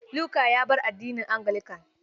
Luka ya bar aƙidar Anglican.